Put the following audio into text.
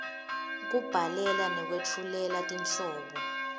kubhalela nekwetfulela tinhlobo